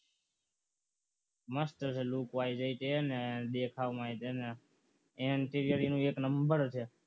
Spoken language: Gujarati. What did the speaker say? મસ્ત છે lookwise અને તે દેખાવમાં તે અને anterior એનું એક નંબર છે